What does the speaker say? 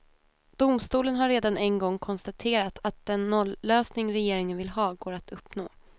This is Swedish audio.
Domstolen har redan en gång konstaterat att den nollösning regeringen vill ha går att uppnå.